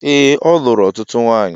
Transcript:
Ee, o lụrụ ọtụtụ nwanyị